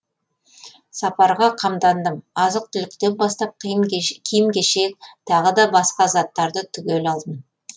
сапарға қамдандым азық түліктен бастап киім кешек тағы да басқа заттарды түгел алдым